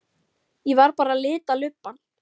Ég var bara að lita lubbann.